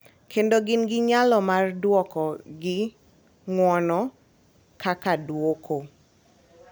Kendo gin gi nyalo mar dwoko gi ng’uono kaka duoko.